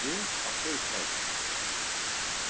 Ég á þau klæði!